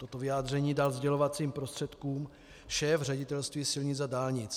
Toto vyjádření dal sdělovacím prostředkům šéf Ředitelství silnic a dálnic.